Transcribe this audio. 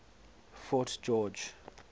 fort george